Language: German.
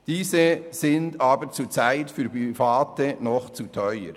Diese sind aber zurzeit für Private noch zu teuer.